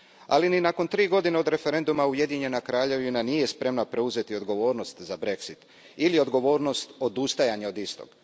Ali ni nakon tri godine od referenduma Ujedinjena Kraljevina nije spremna preuzeti odgovornost za Brexit ili odgovornost za odustajanje od istog.